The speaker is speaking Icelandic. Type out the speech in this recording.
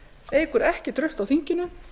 eykur ekki traust á þinginu